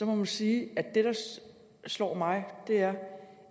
man sige at det der slår mig er